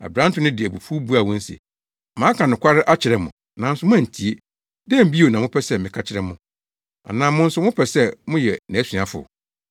Aberante no de abufuw buaa wɔn se, “Maka nokware no akyerɛ mo, nanso moantie. Dɛn bio na mopɛ sɛ meka kyerɛ mo? Anaasɛ mo nso mopɛ sɛ mobɛyɛ nʼasuafo?”